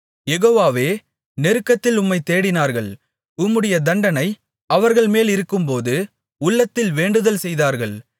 யெகோவாவே நெருக்கத்தில் உம்மைத் தேடினார்கள் உம்முடைய தண்டனை அவர்கள் மேலிருக்கும்போது உள்ளத்தில் வேண்டுதல் செய்தார்கள்